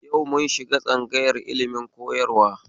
Yau mun shiga tsangayar ilimin koyarwa